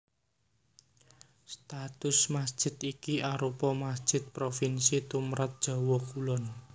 Status masjid iki arupa masjid provinsi tumrap Jawa Kulon